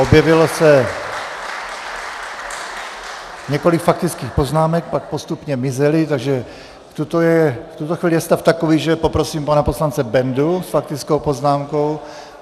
Objevilo se několik faktických poznámek, pak postupně mizely, takže v tuto chvíli je stav takový, že poprosím pana poslance Bendu s faktickou poznámkou.